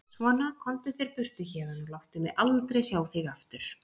Svona, komdu þér burtu héðan og láttu mig aldrei sjá þig aftur!